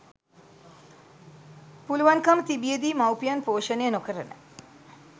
පුළුවන්කම තිබිය දී මවුපියන් පෝෂණය නොකරන